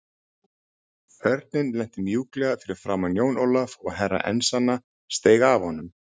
Örninn lenti mjúklega fyrir framan Jón Ólaf og Herra Enzana steig af honum.